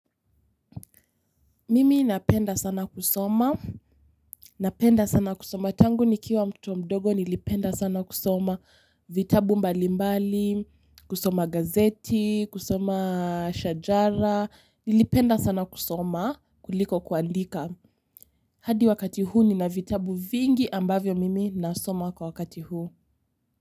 Mimi napenda sana kusoma. Napenda sana kusoma. Tangu nikiwa mtoto mdogo nilipenda sana kusoma vitabu mbali mbali kusoma gazeti kusoma shajara nilipenda sana kusoma kuliko kuandika. Hadi wakati huu nina vitabu vingi ambavyo mimi nasoma kwa wakati huu.